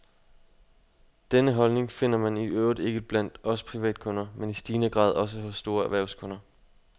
Denne holdning finder man i øvrigt ikke blot blandt os privatkunder, men i stigende grad også hos store erhvervskunder.